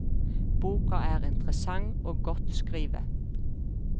Boka er interessant og godt skrive.